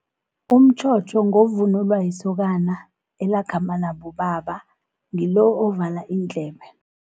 Umtjhotjho ngovunulwa yisokana, elakhamba nabobaba ngilo ovala iindlebe.